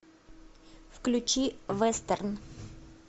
включи вестерн